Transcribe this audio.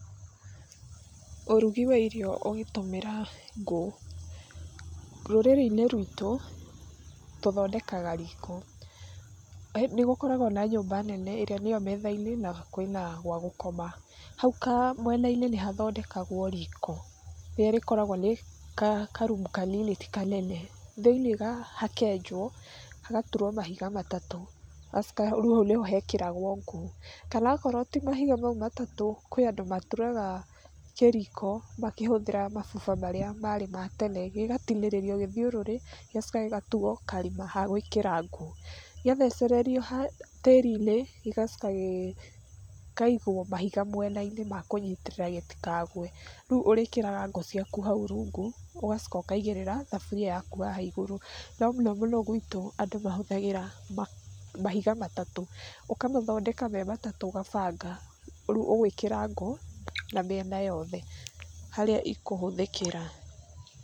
Ũrugi wa irio ũgĩtũmĩra ngũ. Rũrĩrĩ-inĩ rwitũ, tũthondekaga riko. Nĩ gũkoragwo na nyumba nene ĩrĩa nĩyo metha-inĩ, na kwĩna gwa gũkoma. Hau kamwena-inĩ nĩ hathondekagwo riko, rĩrĩa rĩkoragwo nĩ karumu kanini ti kanene, thĩ-inĩ hakenjwo, hagaturwo mahiga matatũ, hagacoka rĩu hau nĩho hekĩragwo ngũ. Kana okorwo ti mahiga mau matatũ, kũrĩ andũ maturaga kĩriko makĩhũthĩra mabuba marĩa marĩ ma tene, gĩgatinĩrĩrio gĩthiũrũrĩ gĩgacoka gĩgatuo karima ha gwĩkĩra ngũ. Gĩathecererio ha tĩri-inĩ, gĩgacoka gĩkaigwo mahiga mwena-inĩ ma kũnyitĩrĩra gĩtikagwe, rĩu ũrĩkĩraga ngũ ciaku hau rungu ũgacoka ũkaigĩrĩra thaburi yaku haha igũrũ. No mũno mũno gwitũ andũ mahũthagĩra mahiga matatũ, ũkamathondeka me matatũ ũgabanga, rĩu ũgwĩkĩra ngũ na mĩena yothe, harĩa ikũhũthĩkĩra.